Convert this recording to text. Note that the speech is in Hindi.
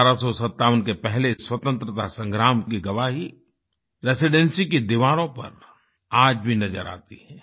1857 के पहले स्वतंत्रता संग्राम की गवाही रेसिडेंसी की दीवारों पर आज भी नजर आती है